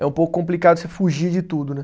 É um pouco complicado você fugir de tudo, né?